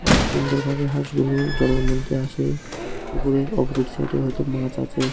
অনেক সুন্দর ভাবে হাঁসগুলো জলের মধ্যে আছে উপরে অপজিট সাইডে হয়তো মাছ আছে।